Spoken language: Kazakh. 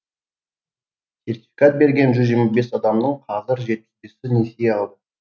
сертификат берген жүз жиырма бес адамның қазір жетпіс бесі несие алды